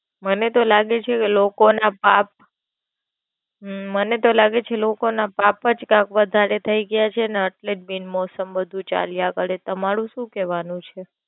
મને તો લાગે છે લોકો ના પાપ હમ મને તો લાગે છે લોકો ના પાપ જ કાંઈક વધારે થઈ ગયા છે. ને એટલે જ બિનમોસમ બધું ચાલ્યા કરે, તમારું શું કેવાનું છે.